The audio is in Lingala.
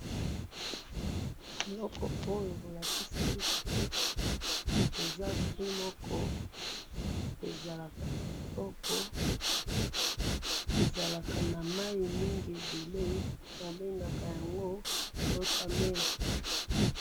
Eloko oyo bolakisi biso, eza fruit moko, ezalaka kitoko, ezalaka na mayi mingi ebele, babengaka yango water melon